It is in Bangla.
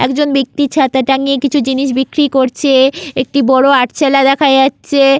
একজন ব্যাক্তি ছাতা টাঙিয়ে কিছু জিনিস বিক্রি করছে। একটি বড় আটচালা দেখা যাচ্ছে।